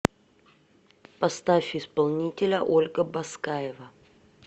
поставь исполнителя ольга баскаева